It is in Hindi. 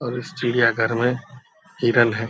और इस चिड़ियाघर में हिरन है।